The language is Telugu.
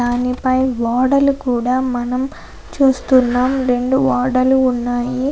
దానిపై ఓడలు కూడా మనం చూస్తున్నాం. రెండు ఓడలు ఉన్నాయి.